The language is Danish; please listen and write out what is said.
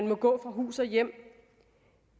må gå på hus og hjem